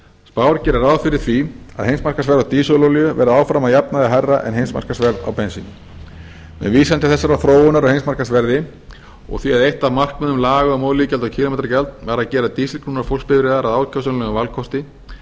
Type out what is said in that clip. spár gera ráð fyrir því að heimsmarkaðsverð á dísilolíu verði áfram að jafnaði hærra en heimsmarkaðsverð á bensíni með vísun til þessarar þróunar á heimsmarkaðsverði úr því að eitt af markmiðum laga um olíugjald og kílómetragjald var að gera dísilknúnar bifreiðar að ákjósanlegum valkosti